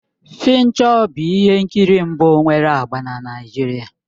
"Fincho bụ ihe nkiri mbụ nwere agba na Naịjirịa.